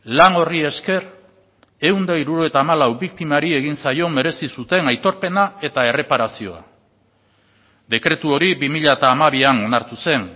lan horri esker ehun eta hirurogeita hamalau biktimari egin zaio merezi zuten aitorpena eta erreparazioa dekretu hori bi mila hamabian onartu zen